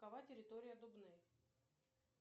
какова территория дубны